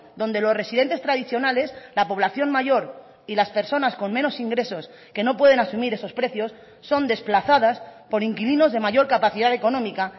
donde los residentes tradicionales la población mayor y las personas con menos ingresos que no pueden asumir esos precios son desplazadas por inquilinos de mayor capacidad económica